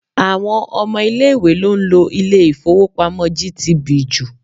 Àwọn ọmọ ilé-ìwé ló ń lo ilé-ifowopamo GTB jù.